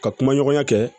Ka kumaɲɔgɔnya kɛ